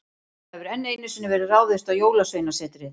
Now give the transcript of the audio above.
Það hefur enn einu sinni verið ráðist á Jólasveinasetrið.